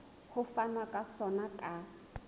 ho fanwa ka sona ka